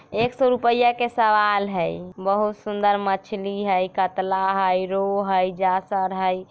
एक सो रूपया के सवाल हई बहुत सुंदर मछली हई कतला हई रेहु हई जासर हई।